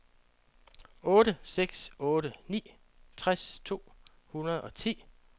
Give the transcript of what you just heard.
otte seks otte ni tres to hundrede og ti